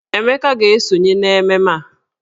Emeka ga-esonye n'ememme a.